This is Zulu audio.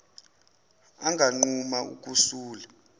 anganquma uku sula